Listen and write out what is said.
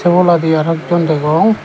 sey oboladi aro ek jon degong.